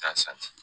K'a san